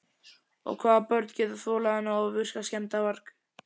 Og hvaða börn geta þolað þennan ofvirka skemmdarvarg?